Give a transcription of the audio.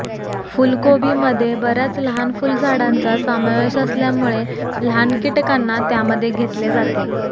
फुलकोबीमध्ये बर्याच लहान फुलझाडांचा समावेश असल्यामुळे लहान कीटकांना त्यामध्ये घेतले जाते